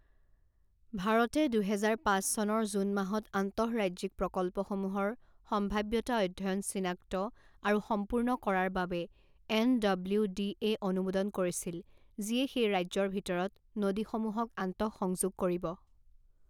ভাৰতে দুহেজাৰ পাঁচ চনৰ জুন মাহত আন্তঃৰাজ্যিক প্ৰকল্পসমূহৰ সম্ভাৱ্যতা অধ্যয়ন চিনাক্ত আৰু সম্পূৰ্ণ কৰাৰ বাবে এনডব্লিউডিএ অনুমোদন কৰিছিল যিয়ে সেই ৰাজ্যৰ ভিতৰত নদীসমূহক আন্তঃসংযোগ কৰিব।